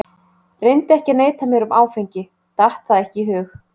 Reyndi ekki að neita mér um áfengi, datt það ekki í hug.